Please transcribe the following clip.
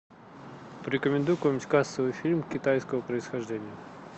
порекомендуй какой нибудь кассовый фильм китайского происхождения